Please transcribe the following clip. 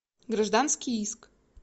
гражданский иск